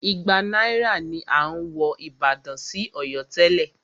Igba náírà ni à ń wọ ìbàdàn sí Ọ̀yọ́ tẹ́lẹ̀.